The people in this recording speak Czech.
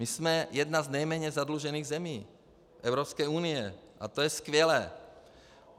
My jsme jedna z nejméně zadlužených zemí Evropské unie a to je skvělé.